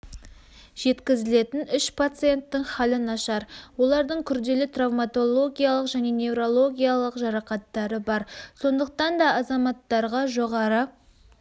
жеткізілетін үш пациенттің халі нашар олардың күрделі травматологиялық және неврологиялық жарақаттары бар сондықтан азаматтарға жоғары